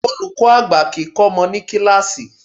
Olùkọ́ àgbà kìí kọ́ ọmọ ní kíláàsì.